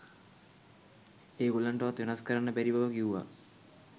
ඒ ගොල්ලන්ටවත් වෙනස් කරන්න බැරි බව කිව්වා.